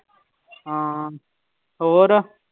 ਹਾਂ ਹੋਰ